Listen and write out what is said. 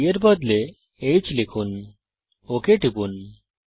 b এর বদলে h লিখুন ওক টিপুন